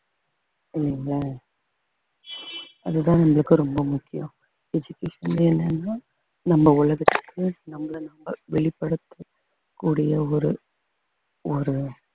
இல்லைங்களா அதுதான் உங்களுக்கு ரொம்ப முக்கியம் education என்னன்னா நம்ம உலகத்துக்கு நம்மளை நம்ம வெளிப்படுத்தக்கூடிய ஒரு ஒரு